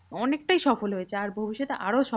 অনেকটাই সফল হয়েছে আর ভবিষ্যতে আরও সফল